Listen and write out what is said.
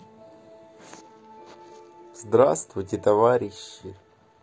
здравствуйте товарищи